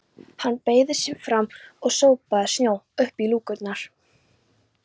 Hann beygði sig fram og sópaði snjó upp í lúkurnar.